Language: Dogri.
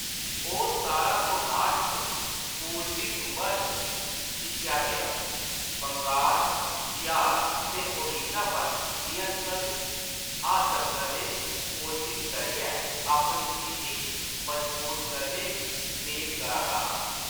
ओह्‌‌ सतारां सौ नाह्ट च पूरबी सूबा च दिक्खेया गेआ, बंगाल, बिहार ते ओडिशा पर नियंत्रण हासल करने दी कोशश करियै अपनी स्थिति गी मजबूत करने दी मेद करा दा हा।